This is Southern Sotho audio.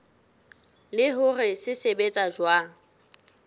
le hore se sebetsa jwang